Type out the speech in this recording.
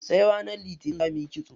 Sai ranar litinin za muyi kitso.